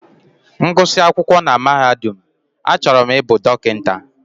M gụsị akwụkwọ na mahadum, achọrọ m ịbụ dọkịta.